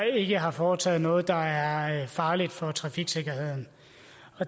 ikke har foretaget sig noget der er farligt for trafiksikkerheden